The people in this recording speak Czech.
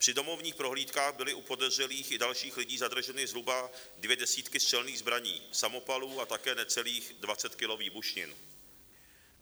Při domovních prohlídkách byly u podezřelých i dalších lidí zadrženy zhruba dvě desítky střelných zbraní, samopalů a také necelých 20 kilo výbušnin.